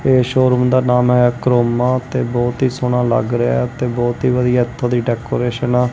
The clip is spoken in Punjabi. ਇਹ ਸ਼ੋਰੂਮ ਦਾ ਨਾਮ ਹੈ ਕਰੋਮਾ ਤੇ ਬਹੁਤ ਹੀ ਸੋਹਣਾ ਲੱਗ ਰਿਹਾ ਤੇ ਬਹੁਤ ਹੀ ਵਧੀਆ ਇਥੋਂ ਦੀ ਡੈਕੋਰੇਸ਼ਨ ਹੈ।